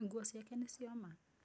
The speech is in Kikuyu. Nguo ciake nĩ cioma.